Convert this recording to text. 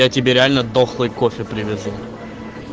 я тебе реально дохлый кофе привезу